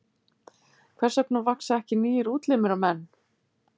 Hvers vegna vaxa ekki nýir útlimir á menn?